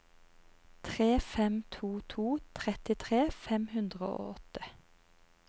tre fem to to trettitre fem hundre og åtte